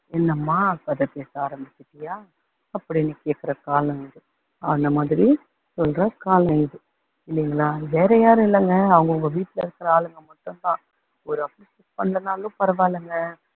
என்னம்மா கதை பேச ஆரமிச்சுட்டியா அப்படின்னு கேக்குற காலம் இது அந்த மாதிரி சொல்ற காலம் இது இல்லைங்களா, வேற யாரும் இல்லங்க. அவங்க அவங்க வீட்டுல இருக்க ஆளுங்க மட்டும் தான் ஒரு appreciate பண்ணலன்னாலும் பரவாயில்லங்க